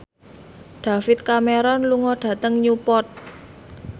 David Cameron lunga dhateng Newport